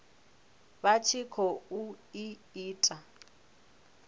vha tshi khou i ita